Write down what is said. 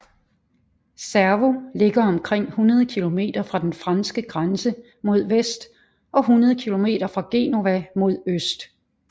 Cervo ligger omkring 100 kilometer fra den franske grænse mod vest og 100 kilometer fra Genova mod øst